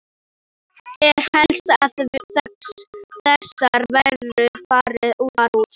Það er helst að þessar verur fari þar út.